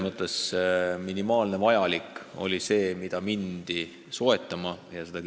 Aga minimaalselt vajalik arvati olevat see kümme meetrit ja neid maid asutigi soetama.